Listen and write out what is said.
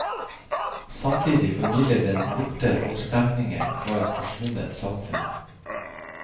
Samtidig formidler den lukter og stemninger fra et forsvunnet samfunn.